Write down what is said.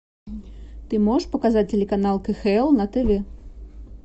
ты можешь показать телеканал кхл на тв